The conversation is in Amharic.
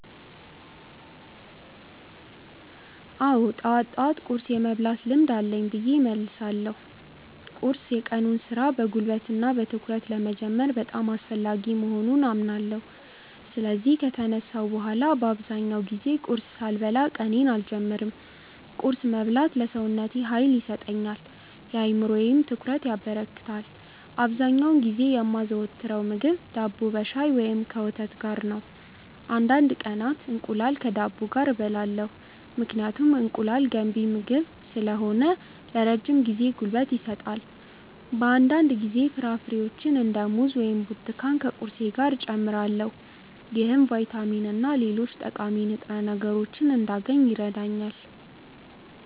አዎ፣ ጠዋት ጠዋት ቁርስ የመብላት ልምድ አለኝ ብዬ እመልሳለሁ። ቁርስ የቀኑን ሥራ በጉልበትና በትኩረት ለመጀመር በጣም አስፈላጊ መሆኑን አምናለሁ። ስለዚህ ከተነሳሁ በኋላ በአብዛኛው ጊዜ ቁርስ ሳልበላ ቀኔን አልጀምርም። ቁርስ መብላት ለሰውነቴ ኃይል ይሰጠኛል፣ ለአእምሮዬም ትኩረት ያበረክታል። አብዛኛውን ጊዜ የማዘወትረው ምግብ ዳቦ ከሻይ ወይም ከወተት ጋር ነው። አንዳንድ ቀናት እንቁላል ከዳቦ ጋር እበላለሁ፣ ምክንያቱም እንቁላል ገንቢ ምግብ ስለሆነ ለረጅም ጊዜ ጉልበት ይሰጣል። በአንዳንድ ጊዜ ፍራፍሬዎችን እንደ ሙዝ ወይም ብርቱካን ከቁርሴ ጋር እጨምራለሁ። ይህም ቫይታሚንና ሌሎች ጠቃሚ ንጥረ ምግቦችን እንዳገኝ ይረዳኛል።